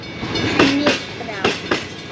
Henni brá.